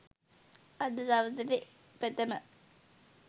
අද සවස .ට ප්‍රථම